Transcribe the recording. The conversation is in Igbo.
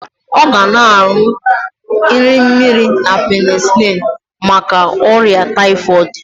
Ọ ga na-aṅụ nri mmiri na penisilin maka ọrịa taịfọịdị